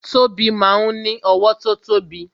Tobi máa ń ní owó tó tóbi